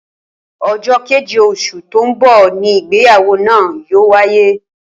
Ojó kéje osù tó n bò ni ìgbéyàwó náà yóò wáyé